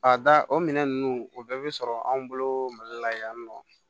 A da o minɛn ninnu o bɛɛ bɛ sɔrɔ anw bolo mali la yan nɔ